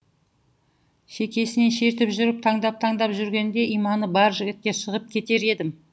шекесінен шертіп жүріп таңдап таңдап жүрегінде иманы бар жігітке шығып кетер едім